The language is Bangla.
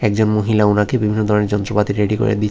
একজন মহিলা ওনাকে বিভিন্ন ধরনের যন্ত্রপাতি রেডি করে দিচ্ছ--